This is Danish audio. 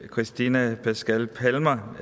cristiana pașca palmer